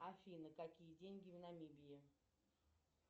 афина какие деньги в намибии